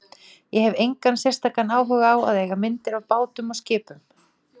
Ég hef engan sérstakan áhuga á að eiga myndir af bátum og skipum.